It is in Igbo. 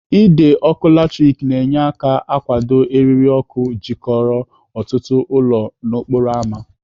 Ide ọkụ latrik na-enye aka akwụdo eriri ọkụ jikọrọ ọtụtụ ụlọ n'okporo ámá.